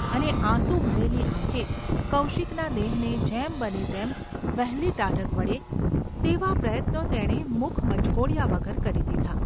અને આંસુ ભરેલી આંખે કૌશિકના દેહને જેમ બને તેમ વહેલી ટાઢક વળે તેવા પ્રયત્નો તેણે મુખ મચકોડ્યા વગર કરી દીધા.